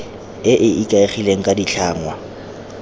e e ikaegileng ka ditlhangwa